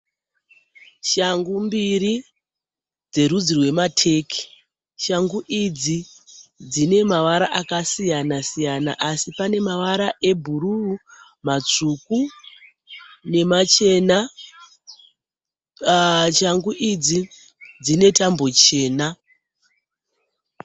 Shangu mbiri dzerudzi rwemateki dzine mavara akasiyanasiyana mamwe matsvuku ,mamwe ebhuru ,mamwe matema, shangu idzi dzinetambo chena.